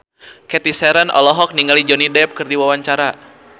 Cathy Sharon olohok ningali Johnny Depp keur diwawancara